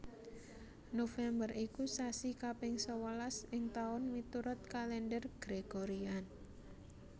November iku sasi kaping sewelas ing taun miturut Kalendher Gregorian